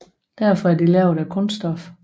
Derfor er de lavet af kunststof